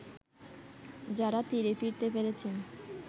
যারা তীরে ফিরতে পেরেছেন